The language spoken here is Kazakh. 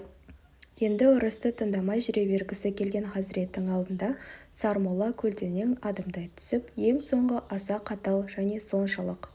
енді ұрысты тыңдамай жүре бергісі келген хазіреттің алдында сармолла көлденең адымдай түсіп ең соңғы аса қатал және соншалық